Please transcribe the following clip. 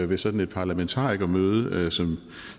ved sådan et parlamentarikermøde som